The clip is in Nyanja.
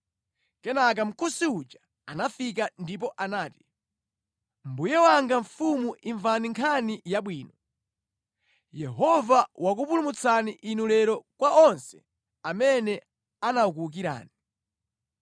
Kenaka Mkusi uja anafika ndipo anati, “Mbuye wanga mfumu imvani nkhani yabwino! Yehova wakupulumutsani inu lero kwa onse amene anakuwukirani.”